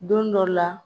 Don dɔ la